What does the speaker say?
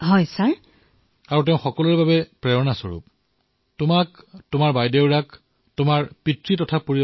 ধন্যবাদ মহোদয়